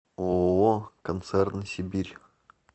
ооо концерн сибирь